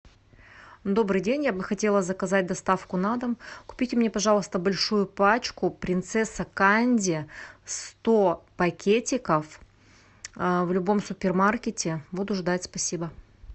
добрый день я бы хотела заказать доставку на дом купите мне пожалуйста большую пачку принцесса канди сто пакетиков в любом супермаркете буду ждать спасибо